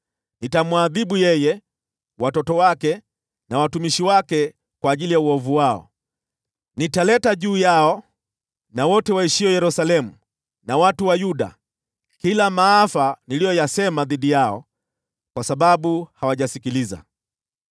Nitamwadhibu yeye, watoto wake na watumishi wake kwa ajili ya uovu wao. Nitaleta juu yao na wote waishio Yerusalemu na watu wa Yuda kila maafa niliyoyasema dhidi yao, kwa sababu hawajasikiliza.’ ”